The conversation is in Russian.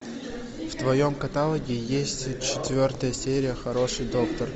в твоем каталоге есть четвертая серия хороший доктор